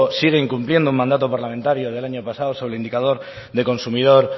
sigue incumpliendo un mandato parlamentario sobre el indicador del consumidor